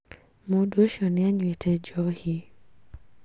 Mũndũ ũcĩo nĩ anyuĩte njohi